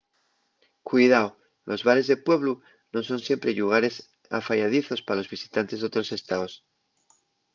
cuidao: los bares de pueblu nun son siempre llugares afayadizos pa los visitantes d’otros estaos